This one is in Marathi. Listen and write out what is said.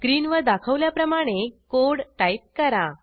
स्क्रीनवर दाखवल्याप्रमाणे कोड टाईप करा